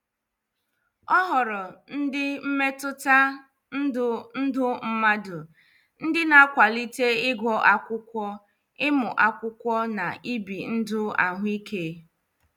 Ọ Họrọ ndị mmetụta ndụ ndụ mmadụ, ndị na -akwalite ịgụ akwụkwọ, ịmụ akwụkwọ na ibi ndụ ahụike.